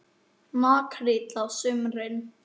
Makríll á sumrin.